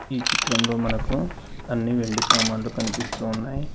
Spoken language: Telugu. ఈ చిత్రంలో మనకు అన్ని వెండి సామాన్లు కనిపిస్తూ ఉన్నాయి.